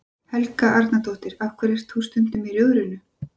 Helga Arnardóttir: Af hverju ert þú stundum í Rjóðrinu?